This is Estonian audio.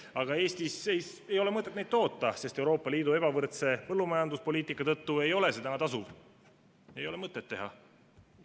Aga Eestis ei ole mõtet neid toota, sest Euroopa Liidu ebavõrdse põllumajanduspoliitika tõttu ei ole see tasuv, seda ei ole mõtet teha.